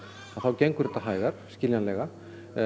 þá gengur þetta hægar skiljanlega